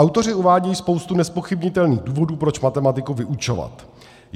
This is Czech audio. Autoři uvádějí spoustu nezpochybnitelných důvodů, proč matematiku vyučovat.